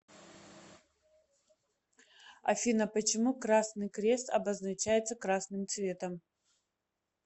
афина почему красный крест обозначается красным цветом